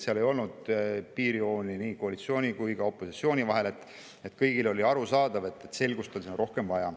Seal ei olnud piirjooni koalitsiooni ja opositsiooni vahel, vaid kõigile oli arusaadav, et selgust on siin rohkem vaja.